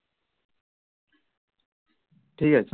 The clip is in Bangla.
ঠিক আছে